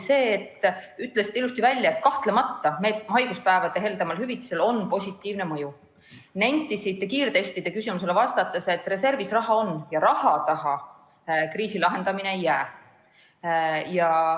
Te ütlesite ka ilusti välja, et kahtlemata on haiguspäevade heldemal hüvitamisel positiivne mõju, ning nentisite kiirtestide küsimusele vastates, et reservis raha on ja raha taha kriisi lahendamine ei jää.